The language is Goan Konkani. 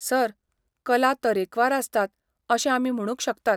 सर, कला तरेकवार आसतात अशें आमी म्हणूंक शकतात.